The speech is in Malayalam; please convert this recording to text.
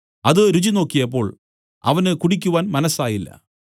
അത് രുചിനോക്കിയപ്പോൾ അവന് കുടിക്കുവാൻ മനസ്സായില്ല